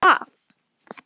Um hvað?